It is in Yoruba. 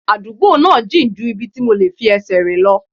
Àdúgbò náà jìn ju ibi tí mo lè fi ẹsẹ̀ rìn lọ